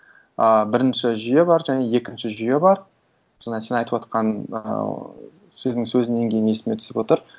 ыыы бірінші жүйе бар және екінші жүйе бар сонда сен айтып отырған ыыы сөздің сөзіңнен кейін есіме түсір отыр